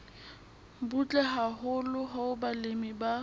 butle haholo hoo balemi ba